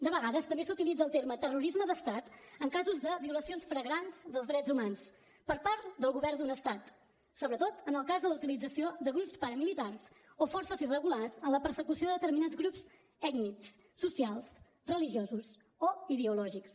de vegades també s’utilitza el terme terrorisme d’estat en casos de violacions flagrants dels drets humans per part del govern d’un estat sobretot en el cas de la utilització de grups paramilitars o forces irregulars en la persecució de determinats grups ètnics socials religiosos o ideològics